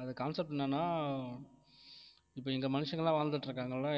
அது concept என்னன்னா இப்ப இந்த மனுஷங்க எல்லாம் வாழ்ந்துட்டு இருக்காங்கல்ல